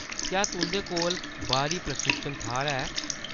क्या तुंʼदे कोल बाह्‌री प्रशिक्षण थाह्‌‌‌र है ?